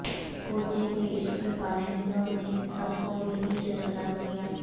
کوچے کے اس کے باشندوں نے سب کو یہیں سے سلام کیا